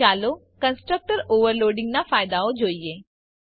ચાલો constructor overloading ના ફાયદાઓ જોઈએ